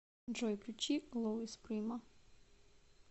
джой включи луис прима